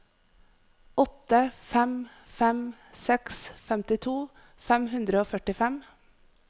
åtte fem fem seks femtito fem hundre og førtifem